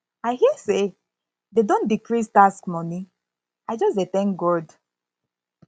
i hear say dey don decrease tax money i just dey thank god